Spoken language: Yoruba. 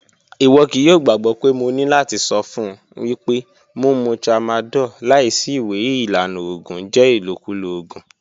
Iwọ kii yoo gbagbọ pe mo ni lati sọ fun wipe mumu tramadol laisi iwe ilana oògùn jẹ ilokulo oògùn.